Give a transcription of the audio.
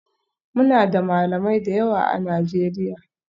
Muna da Malamai da yawa a Najeriya